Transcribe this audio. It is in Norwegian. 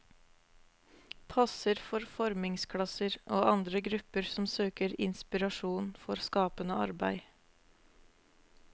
Passer for formingsklasser og andre grupper som søker inspirasjon for skapende arbeid.